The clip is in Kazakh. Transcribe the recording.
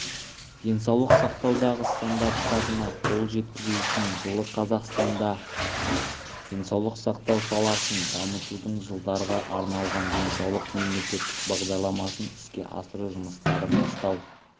денсаулық сақтаудағы стандарттарына қол жеткізу үшін жылы қазақстанда денсаулық сақтау саласын дамытудың жылдарға арналған денсаулық мемлекеттік бағдарламасын іске асыру жұмыстары бастау